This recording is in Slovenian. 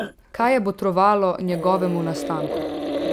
Kaj je botrovalo njegovemu nastanku?